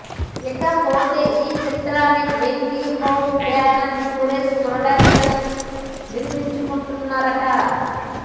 ఇకపోతే ఈ చిత్రాన్ని Venky home banner Suresh productions నిర్మించనున్నారట